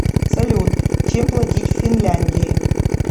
салют чем платить в финляндии